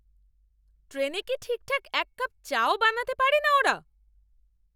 ট্রেনে কি ঠিকঠাক এক কাপ চা ও বানাতে পারেনা ওরা